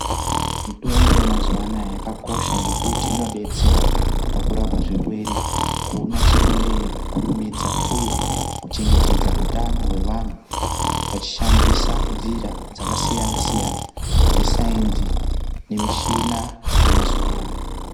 Mitombo yemazuva anaya yakakosha nekuti inobetsera pakurapa zvirwere, kuona chirwere nokukurumidza, uye kuchengetedza utano hwevantu vachishandisa nzira dzakasiyana-siyana dzesainzi nemichina yemazuva ano.